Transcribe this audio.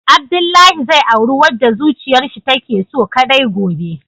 Abdullahi zai auri wadda zuciyarshi take so kadai gobe.